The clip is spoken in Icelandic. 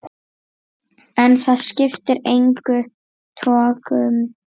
En það skipti engum togum.